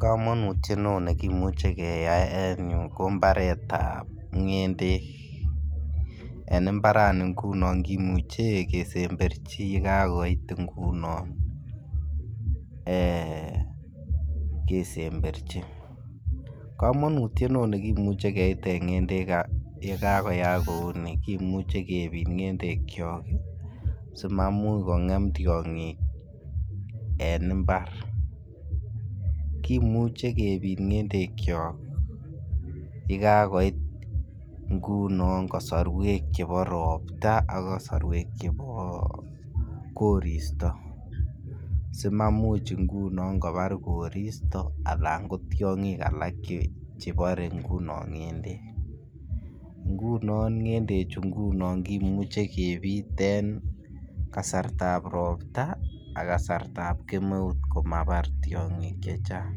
Komonutiet ne oo nekimuche keyay en yuu ko mbaretap ngendek, en imbarani ngunon kimuche kesemberji yee kagoit ngunon eeh kesemberji. Komonutiet ne oo nekimuche keiten ngendek yee kagoyaak kouni kimuche kepit ngendekyok ii si mamuch kongem tyongik en imbar. Kimuche kepit ngendekyok ye kagoit ngunon kosorwek chebo ropta ak kosorwek chebo koristo simamuch ngunon kobar koristo alan ko tyogik alak che Boree ngendek. Ngunon ngendek chu ngunon kimuche kepit en kasartab ropta ak kasartab kemeut komabar tyongik chechang.